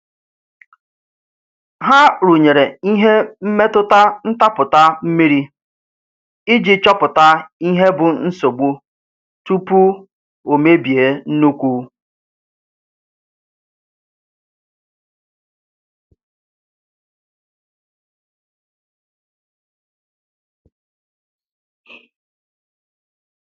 Ha rụnyere ihe mmetụta ntapụta mmiri iji chopụta ihe bụ nsogbu tupu o mebie nnukwu.